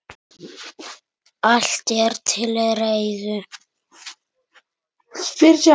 Allt er til reiðu.